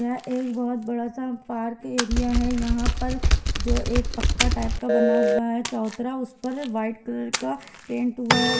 यहाँ एक बहुत बड़ा सा पार्क एरिया है यहां पर जो एक पक्का टाइप का बना हुआ है चौतरा उस पर वाइट कलर का पेंट हुआ है उ--